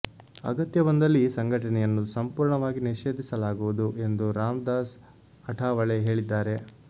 ಅಗತ್ಯ ಬಂದಲ್ಲಿ ಈ ಸಂಘಟನೆಯನ್ನು ಸಂಪೂರ್ಣವಾಗಿ ನಿಷೇಧಿಸಲಾಗುವುದು ಎಂದು ರಾಮದಾಸ್ ಅಠಾವಳೆ ಹೇಳಿದ್ದಾರೆ